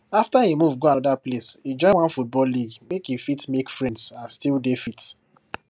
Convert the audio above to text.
after e move go another place e join one football league make e fit make friends and still dey fit